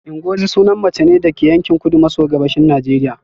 Ngozi sunan mace ne daga yankin kudu maso gabashin Najeriya